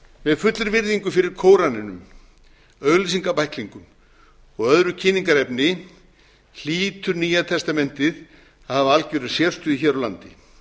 með fullri virðingu fyrir kóraninum auglýsingabæklingum og öðru kynningarefni hlýtur nýja testamentið að hafa algjöra sérstöðu hér á landi